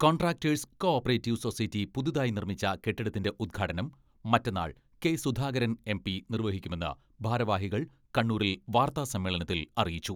Contractors co operative society പുതിയതായി നിർമ്മിച്ച കെട്ടിടത്തിന്റെ ഉദ്ഘാടനം മറ്റന്നാൾ കെ.സുധാകരൻ എം.പി നിർവഹിക്കുമെന്ന് ഭാരവാഹികൾ കണ്ണൂരിൽ വാർത്താ സമ്മേളനത്തിൽ അറിയിച്ചു.